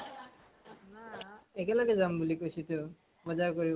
নাই । একেলগে যাম বুলি কৈছোতো। বজাৰ কৰিব